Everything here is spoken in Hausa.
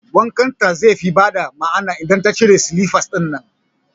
Wankan ta ze fi ba da ma'ana idan ta cire silifas ɗinnan